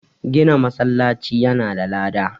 Gina masallaci yana da lada